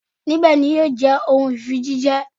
Nibẹ ni yio je ohun fii ti ifijiṣẹ